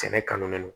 Sɛnɛ kanu le don